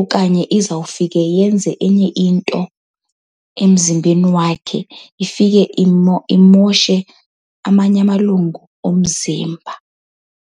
Okanye izawufike yenze enye into emzimbeni wakhe ifike imoshe amanye amalungu omzimba.